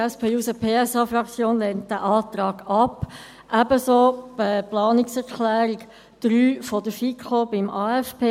Die SP-JUSO-PSA-Fraktion lehnt diesen Antrag ab, ebenso die Planungserklärung 3 der FiKo zum AFP.